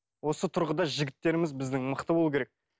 осы тұрғыда жігіттеріміз біздің мықты болу керек